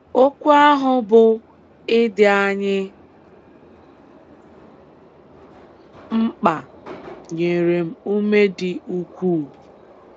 Okwu ahụ bụ́ ‘ Ị dị anyị mkpa ’ nyere m ume dị ukwuu.